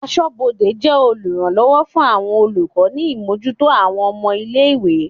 Aṣọ́bodè jẹ́ oluranlowo fún àwọn olùkọ́ ni imojuto àwọn ọmọ-ilé-ìwé.